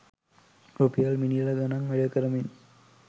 රුපියල් මිලියන ගණන් වැය කරමින්